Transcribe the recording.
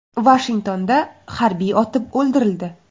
Vashingtonda harbiy otib o‘ldirildi.